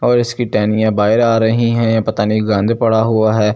और इसकी टहनियाँ बाहर आ रही हैं पता नहीं गंद पड़ा हुआ है।